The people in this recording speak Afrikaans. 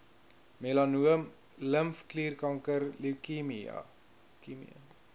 melanoom limfklierkanker leukemie